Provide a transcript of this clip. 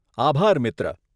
આભાર, મિત્ર.